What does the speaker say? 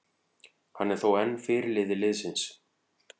Hann er þó enn fyrirliði liðsins.